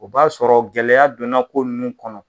O b'a sɔrɔ gɛlɛyaya donna ko nunnu kɔnɔ.